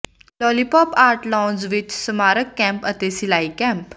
lollipop art lounge ਵਿਚ ਸਮਾਰਕ camp ਅਤੇ ਸਿਲਾਈ ਕੈਂਪ